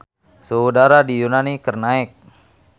Suhu udara di Yunani keur naek